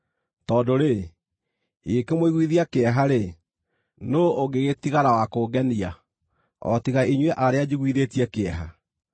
Tondũ-rĩ, ingĩkĩmũiguithia kĩeha-rĩ, nũũ ũngĩgĩtigara wa kũngenia, o tiga inyuĩ arĩa njiguithĩtie kĩeha?